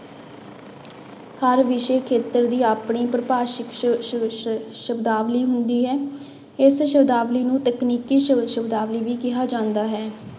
ਹਰ ਵਿਸ਼ੇ ਖੇਤਰ ਦੀ ਆਪਣੀ ਪਰਿਭਾਸ਼ਿਤ ਸ਼ ਸ਼ ਸ਼ ਸ਼ਬਦਾਵਲੀ ਹੁੰਦੀ ਹੈ, ਇਸ ਸ਼ਬਦਾਵਲੀ ਨੂੰ ਤਕਨੀਕੀ ਸ ਸ਼ਬਦਾਵਲੀ ਵੀ ਕਿਹਾ ਜਾਂਦਾ ਹੈ।